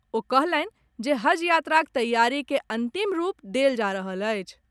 ओ कहलनि जे हज यात्राक तैयारी के अंतिम रूप देल जा रहल अछि।